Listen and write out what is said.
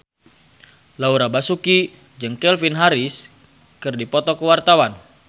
Laura Basuki jeung Calvin Harris keur dipoto ku wartawan